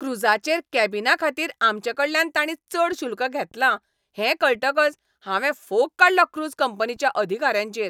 क्रूजाचेर कॅबिनाखातीर आमचेकडल्यान ताणीं चड शुल्क घेतलां हें कळटकच हांवें फोग काडलो क्रूज कंपनीच्या अधिकाऱ्यांचेर.